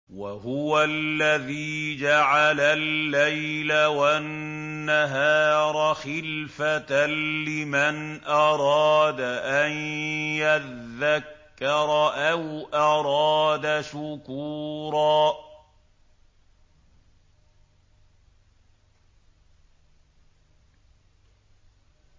وَهُوَ الَّذِي جَعَلَ اللَّيْلَ وَالنَّهَارَ خِلْفَةً لِّمَنْ أَرَادَ أَن يَذَّكَّرَ أَوْ أَرَادَ شُكُورًا